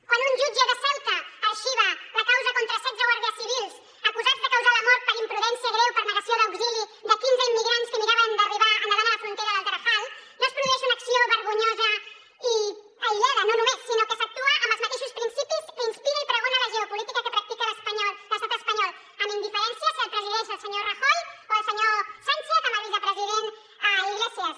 quan un jutge de ceuta arxiva la causa contra setze guàrdies civils acusats de causar la mort per imprudència greu per negació d’auxili de quinze immigrants que miraven d’arribar nedant a la frontera del tarajal no es produeix una acció vergonyosa i aïllada no només sinó que s’actua amb els mateixos principis que inspira i pregona la geopolítica que practica l’estat espanyol amb indiferència si el presideix el senyor rajoy o el senyor sánchez amb el vicepresident iglesias